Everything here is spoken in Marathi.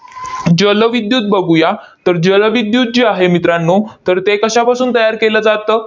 जलविद्युत बघूया. तर जलविद्युत जे आहे मित्रांनो, तर ते कशापासून तयार केलं जातं?